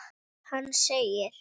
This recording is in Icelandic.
Hann segir: